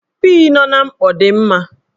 Pii nọ n'mkpọ dị mma